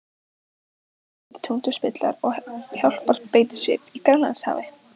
Tveir breskir tundurspillar og hjálparbeitiskip í Grænlandshafi.